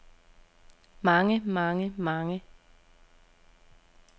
mange mange mange